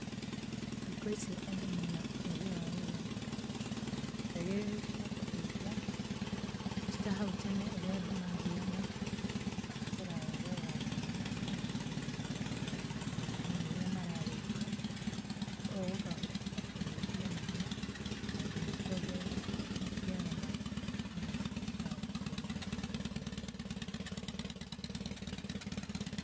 Thikũ ici andũ mĩna ũgĩ wa gũthondeka indo njagĩrĩrũ cia kũraithia, ti ta haũ tene ũrĩa andũ mathiaga kũraya gwetha maĩ na nginya irio cia nyamũ iria mara rĩthia. Ũũ gũkahoteka kũnyihia mĩnoga na nginya kwongĩrĩra maciaro ma nyamũ icio cio iria mara reithia.